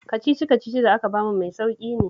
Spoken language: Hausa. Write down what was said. Kacici-kacicin da aka ba mu mai sauƙi ne